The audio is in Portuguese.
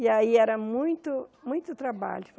E aí era muito, muito trabalho.